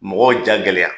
Mɔgɔw ja gɛlɛya